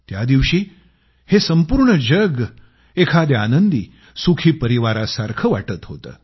त्या दिवशी हे संपूर्ण जग एखाद्या आनंदी सुखी परिवारासारखं वाटत होतं